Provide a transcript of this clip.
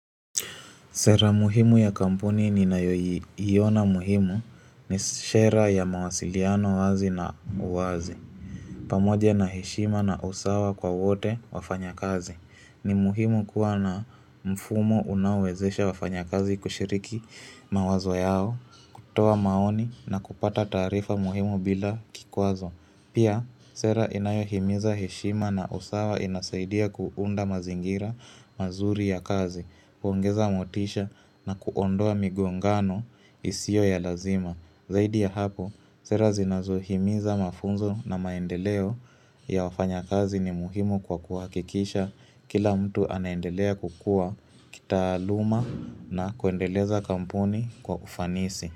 Sera muhimu ya kampuni ninayoiona muhimu ni sera ya mawasiliano wazi na uwazi pamoja na heshima na usawa kwa wote wafanyakazi ni muhimu kuwa na mfumo unaowezesha wafanyakazi kushiriki mawazo yao toa maoni na kupata taarifa muhimu bila kikwazo Pia, sera inayohimiza heshima na usawa inasaidia kuunda mazingira mazuri ya kazi. Kuongeza motisha na kuondoa migongano isio ya lazima. Zaidi ya hapo, sera zinazohimiza mafunzo na maendeleo ya wafanyakazi ni muhimu kwa kuhakikisha kila mtu anaendelea kukuwa kitaaluma na kuendeleza kampuni kwa ufanisi.